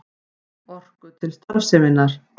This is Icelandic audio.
Orku til starfseminnar.